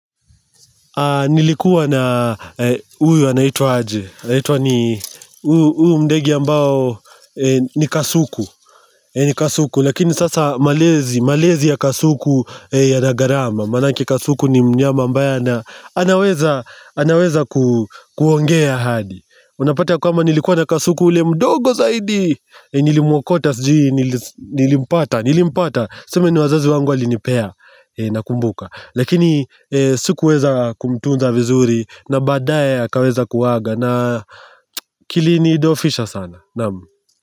Nilikuwa na huyu anaitwaje, anaitwa ni, huyu ndege ambao ni Kasuku kasuku. Lakini sasa malezi ya kasuku yana gharama maanake kasuku ni mnyama ambaye anaweza kuongea hadi. Unapata ya kwamba nilikuwa na kasuku ule mdogo zaidi Nilimwakota sijui, nilimpata, nilimpata. Sisemi ni wazazi wangu walinipea, nakumbuka Lakini sikuweza kumtunza vizuri na baadaye akaweza kuaga na kilinidhoofisha sana, na'am.